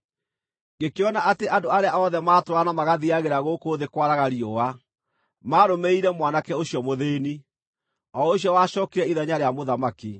Ngĩkĩona atĩ andũ arĩa othe matũũraga na magathiiagĩra gũkũ thĩ kwaraga riũa maarũmĩrĩire mwanake ũcio mũthĩĩni, o ũcio wacookire ithenya rĩa mũthamaki.